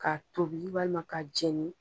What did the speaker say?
A tobi walima ka jeni